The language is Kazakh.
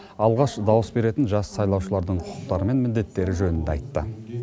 алғаш дауыс беретін жас сайлаушылардың құқықтары мен міндеттері жөнінде айтты